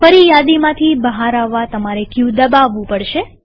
ફરીયાદીમાંથી બહાર આવવા તમારે ક દબાવવું પડશે